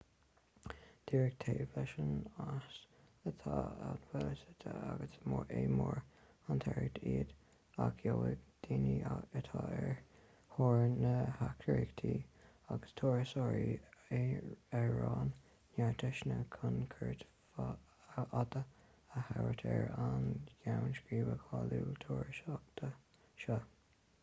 díreach taobh leis an eas atá an baile suite agus is mór an tarraingt iad ach gheobhaidh daoine atá ar thóir na heachtraíochta agus turasóirí araon neart deiseanna chun cuairt fhada a thabhairt ar an gceann scríbe cáiliúil turasóireachta seo